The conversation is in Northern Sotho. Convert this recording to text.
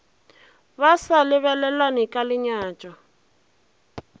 ba sa lebelelane ka lenyatšo